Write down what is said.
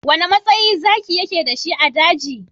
Wane matsayi Zaki yake da shi a daji?